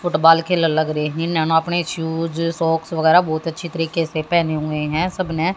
Football के ल लग रहे हैं अपने शूज सॉक्स वगैरह बहुत अच्छी तरीके से पहने हुए हैं सब ने।